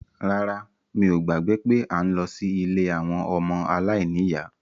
Rárá, mi ò gbàgbé pé à ń lọ sí ilé àwọn ọmọ aláìníyá